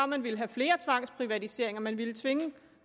man ville have flere tvangsprivatiseringer og man ville tvinge